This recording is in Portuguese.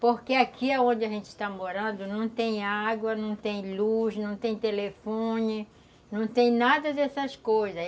Porque aqui onde a gente está morando não tem água, não tem luz, não tem telefone, não tem nada dessas coisas.